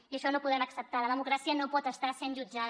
i això no ho podem acceptar la democràcia no pot estar sent jutjada